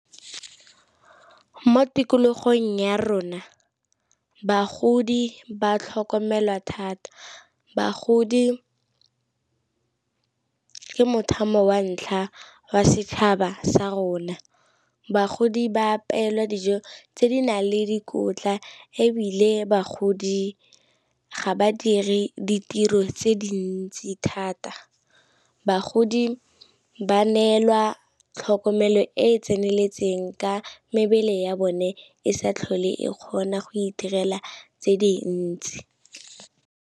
Mo tikologong ya rona bagodi ba tlhokomelwa thata, bagodi ke mo thamo wa ntlha wa setšhaba sa rona. Bagodi ba apeelwa dijo tse di nang le dikotla, ebile bagodi ga badiri ditiro tse dintsi thata. Bagodi ba neelwa tlhokomelo e e tseneletseng ka mebele ya bone e sa tlhole e kgona go itirela tse dintsi.